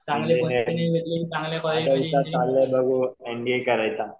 आता विचार चालू आहे बघू एमबीए करायचा.